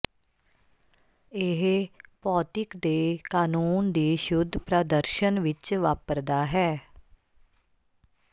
ਇਹ ਭੌਤਿਕ ਦੇ ਕਾਨੂੰਨ ਦੀ ਸ਼ੁੱਧ ਪ੍ਰਦਰਸ਼ਨ ਵਿੱਚ ਵਾਪਰਦਾ ਹੈ